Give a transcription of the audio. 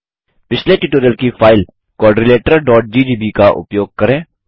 पिछले ट्यूटोरियल की फाइल quadrilateralजीजीबी का उपयोग करें